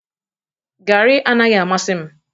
Garri anaghị amasị m